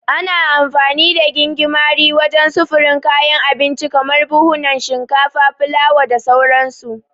Ana amfani da gingimari wajen sufurin kayan abinci kamar buhunan shinkafa, fulawa da sauransu.